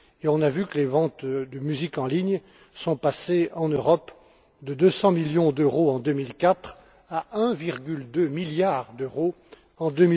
On a vu que les ventes de musique en ligne sont passées en Europe de 200 millions d'euros en 2004 à 1,2 milliard d'euros en